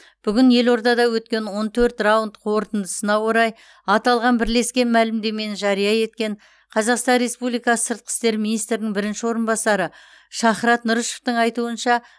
бүгін елордада өткен он төрт раунд қорытындысына орай аталған бірлескен мәлімдемені жария еткен қазақстан республикасы сыртқы істер министрінің бірінші орынбасары шахрат нұрышевтің айтуынша